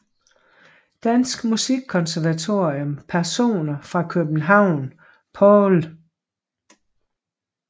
Danske Musikkonservatorium Personer fra København Paul